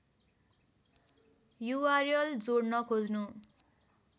URL जोड्न खोज्नु